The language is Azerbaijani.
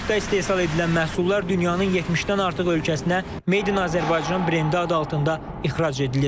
Parkda istehsal edilən məhsullar dünyanın 70-dən artıq ölkəsinə "Made in Azerbaijan" brendi adı altında ixrac edilir.